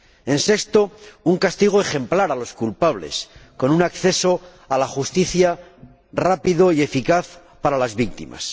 En sexto lugar, un castigo ejemplar a los culpables, con un acceso a la justicia, rápido y eficaz para las víctimas.